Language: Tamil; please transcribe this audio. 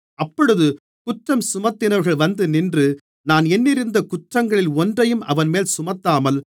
அப்பொழுது குற்றஞ்சுமத்தினவர்கள் வந்துநின்று நான் எண்ணியிருந்த குற்றங்களில் ஒன்றையும் அவன்மேல் சுமத்தாமல்